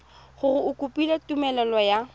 gore o kopile tumelelo ya